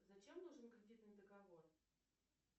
зачем нужен кредитный договор